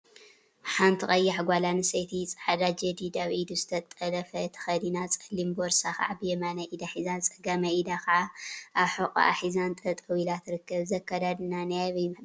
ሓንቲ ቀያሕ ጓል አንስተይቲ ፃዕዳ ጀዲድ አብ ኢዱ ዝተጠለፈ ተከዲና፤ ፀሊም ቦርሳ ከዓ ብየማናይ ኢዳ ሒዛ፤ ፀጋማይ ኢዳ ከዓ አብ ሑቍአ ሒዛን ጠጠወ ኢላን ትርከብ፡፡ እዚ አከዳድና ናይ አበይ ባህሊ እዩ፡፡